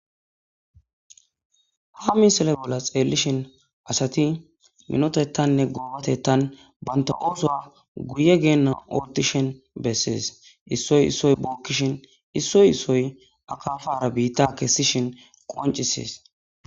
ha misile bolla xeellishin asati minotettanne goobatettan banita oosoa guye geenna otishin bessees issoy issoy bookkishin issoy issoy akapara biitta kessishin qonicisees